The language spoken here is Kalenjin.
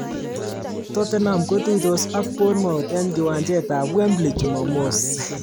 Tottenham kotuitos ak Bournemouth eng kiwanjet ab Wembley chumamos.